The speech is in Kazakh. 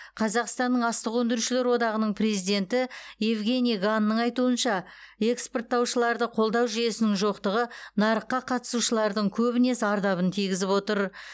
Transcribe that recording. қазақстанның астық өңдеушілер одағының президенті евгений ганның айтуынша экспорттаушыларды қолдау жүйесінің жоқтығы нарыққа қатысушылардың көбіне зардабын тигізіп отыр